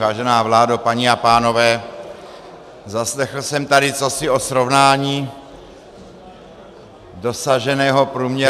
Vážená vládo, paní a pánové, zaslechl jsem tady cosi o srovnání dosaženého průměrného věku -